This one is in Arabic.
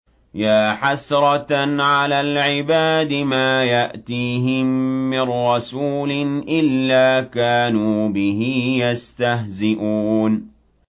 يَا حَسْرَةً عَلَى الْعِبَادِ ۚ مَا يَأْتِيهِم مِّن رَّسُولٍ إِلَّا كَانُوا بِهِ يَسْتَهْزِئُونَ